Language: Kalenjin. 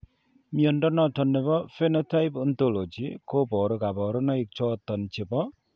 Mnyondo noton nebo Phenotype Ontology koboru kabarunaik choton chebo